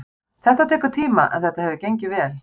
Þetta tekur tíma en þetta hefur gengið vel.